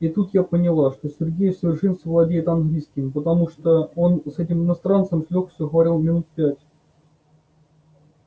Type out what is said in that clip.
и тут я поняла что сергей в совершенстве владеет английским потому что он с этим иностранцем с лёгкостью проговорил минут пять